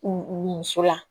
U muso la